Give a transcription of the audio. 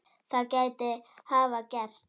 Það gæti hafa gerst.